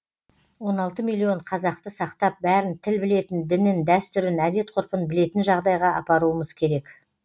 он алты миллион қазақты сақтап бәрін тіл білетін дінін дәстүрін әдет ғұрпын білетін жағдайға апаруымыз керек